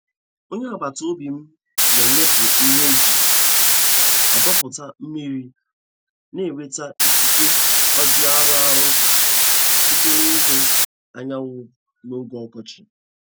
Onye agbata obi m na-enyepụ ihe e ji adọpụta mmiri na-enweta ikike oji arụ ọrụ site n'ihu anyanwụ n'oge ọkọchị.